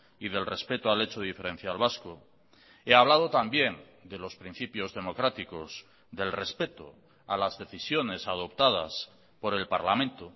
y del respeto al hecho diferencial vasco he hablado también de los principios democráticos del respeto a las decisiones adoptadas por el parlamento